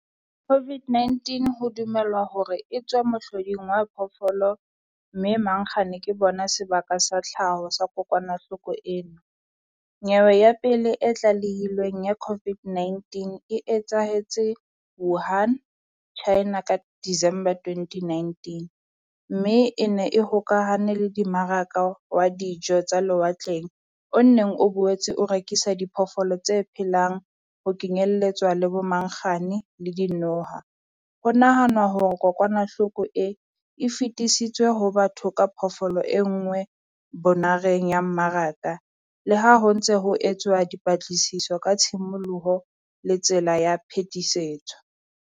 COVID-19 ho dumelwa hore e tswe mohloding wa phoofolo mme mangkgane ke bona sebaka sa tlhaho sa kokwanahloko ena. Nyewe ya pele e tlalehilweng ya COPVID-19 e etsahetse Wuhan China ka December twenty nineteen. Mme e ne e hokahane le dimmaraka wa dijo tsa lewatleng, o nonneng o boetse o rekisa diphoofolo tse phelang, ho kenyelletswa le bo mangkgane le dinoha. Ho nahanwa hore kokwanahloko e, e fetisitswe ho batho ka phoofolo e nngwe bonareng ya mmaraka le ha ho ntse ho etswa dipatlisiso ka tshimoloho le tsela ya phetisetso.